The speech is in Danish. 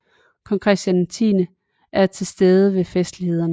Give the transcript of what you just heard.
Kong Christian X er til stede ved festlighederne